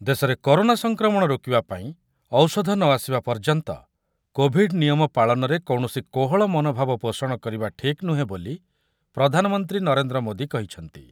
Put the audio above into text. ଦେଶରେ କରୋନା ସଂକ୍ରମଣ ରୋକିବା ପାଇଁ ଔଷଧ ନ ଆସିବା ପର୍ଯ୍ୟନ୍ତ କୋଭିଡ୍ ନିୟମ ପାଳନରେ କୌଣସି କୋହଳ ମନୋଭାବ ପୋଷଣ କରିବା ଠିକ୍ ନୁହେଁ ବୋଲି ପ୍ରଧାନମନ୍ତ୍ରୀ ନରେନ୍ଦ୍ର ମୋଦି କହିଛନ୍ତି